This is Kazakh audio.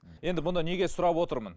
енді бұны неге сұрап отырмын